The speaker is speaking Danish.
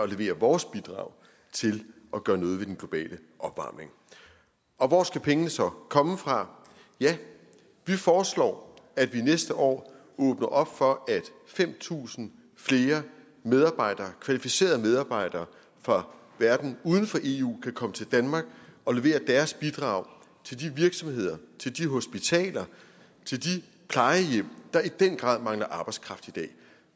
levere vores bidrag til at gøre noget ved den globale opvarmning hvor skal pengene så komme fra ja vi foreslår at vi næste år åbner op for at fem tusind flere medarbejdere kvalificerede medarbejdere fra verden uden for eu kan komme til danmark og levere deres bidrag til de virksomheder til de hospitaler til de plejehjem der i den grad mangler arbejdskraft i dag